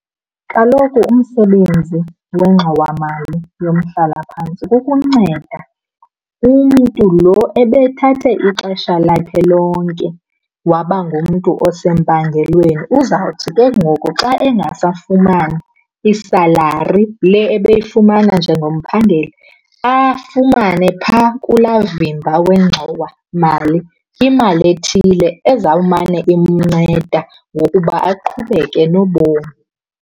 Kaloku umsebenzi wengxowamali yomhlalaphantsi kukunceda umntu lo ebethathe ixesha lakhe lonke waba ngumntu osempangelweni. Uzawuthi ke ngoku xa engasafumani isalari le ebeyifumana njengomphangeli, afumane phaa kulaa vimba wengxowamali imali ethile ezawumane inceda ngokuba aqhubeke nobomi.